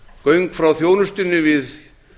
göng frá þjónustunni við